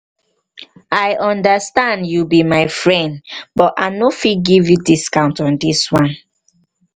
i understand you be my friend but i no fit give you discount on this one.